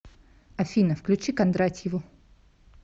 афина включи кондратьеву